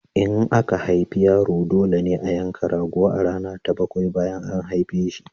In aka haifi yaro, dole ne a yanka rago a rana ta bakwai bayan an haife shi.